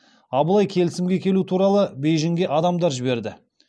абылай келісімге келу туралы бейжінге адамдар жіберді